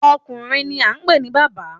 Ọkùnrin ni a ń pè ní bàbá.